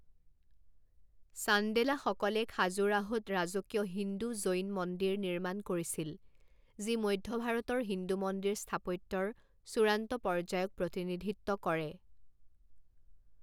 চান্দেলাসকলে খাজুৰাহোত ৰাজকীয় হিন্দু জৈন মন্দিৰ নিৰ্মাণ কৰিছিল যি মধ্য ভাৰতৰ হিন্দু মন্দিৰ স্থাপত্যৰ চূড়ান্ত পৰ্যায়ক প্ৰতিনিধিত্ব কৰে।